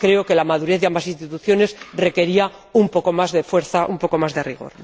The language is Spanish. Creo que la madurez de ambas instituciones requería un poco más de fuerza, un poco más de rigor.